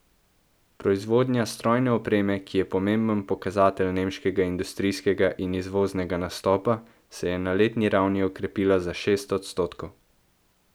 Proizvodnja strojne opreme, ki je pomemben pokazatelj nemškega industrijskega in izvoznega nastopa, se je na letni ravni okrepila za šest odstotkov.